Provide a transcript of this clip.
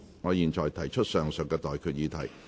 我現在向各位提出上述待決議題。